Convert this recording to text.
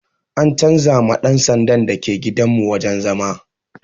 An canza ma ɗan sandan da ke gidan mu wajen zama